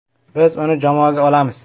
Biz uni jamoaga olamiz.